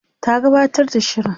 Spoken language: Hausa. ta gabatar da shirin